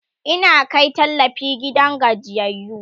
Ina Kai tallafi gidan gajiyayyu